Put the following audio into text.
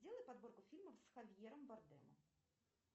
сделай подборку фильмов с хавьером бардемом